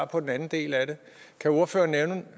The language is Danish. på den anden del af det kan ordføreren